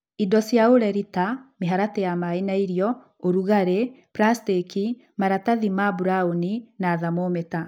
Indo cia ũreri ta mĩharatĩ ya maĩ na irio, ũrugarĩ. prasteki, maratahi ma buraũni na thamometa.